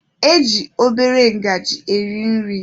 E ji obere ngajị eri nri.